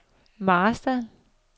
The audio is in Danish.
Marstal